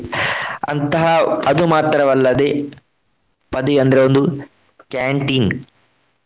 ಅಂತಹ ಅದು ಮಾತ್ರವಲ್ಲದೇ ಪದಿ ಅಂದ್ರೆ ಒಂದು canteen